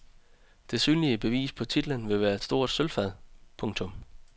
Det synlige bevis på titlen vil være et stort sølvfad. punktum